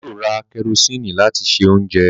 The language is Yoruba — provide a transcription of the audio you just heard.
Bàbá yóò ra kẹrosíìnì láti se oúnjẹ